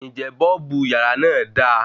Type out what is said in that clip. Ǹjẹ́ bọ́ọ̀bù yàrá náà da